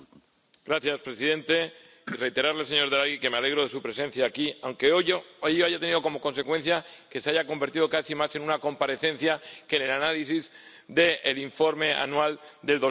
Señor presidente, deseo reiterarle, señor Draghi, que me alegro de su presencia aquí, aunque hoy haya tenido como consecuencia que se haya convertido casi más en una comparecencia que en el análisis del informe anual de